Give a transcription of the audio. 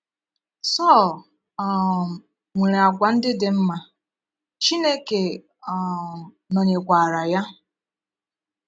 Sọl um nwere àgwà ndị dị mma, Chineke um nọnyekwaàrà ya.